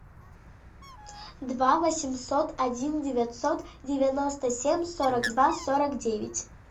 два восемьсот один девятьсот девяносто семь сорок два сорок девять